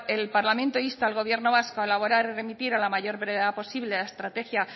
el parlamento insta al gobierno vasco a elaborar y remitir a la mayor brevedad posible la estrategia